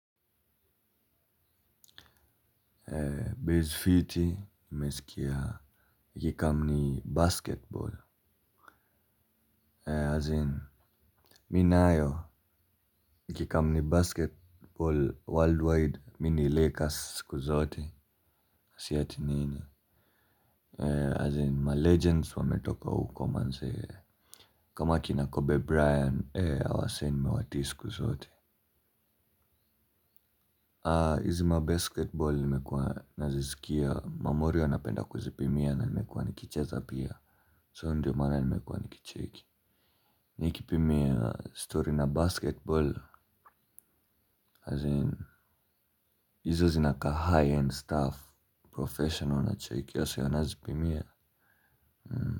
Base fiti, nimesikia ikicome ni basketball As in, mi nayo ikicome ni basketball worldwide, mi ni Lakers siku zote. Si ati nini? As in, ma legends wametoka uko manzee. Kama kina kobe briant, hawa wase nimewatii siku zote. Hizi mabasketball nime kuwa nazisikia, mamorio wanapenda kuzipimia na nimekuwa nikicheza pia So ndiyo maana nimekuwa nikicheki. Ni kipimia story na basketball As in, izo zinakaa high-end staff Profesional nacheki so nazipimia.